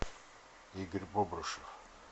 игорь бобрышев